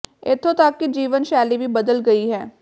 ਇਥੋਂ ਤੱਕ ਕਿ ਜੀਵਨ ਸ਼ੈਲੀ ਵੀ ਬਦਲ ਗਈ ਹੈ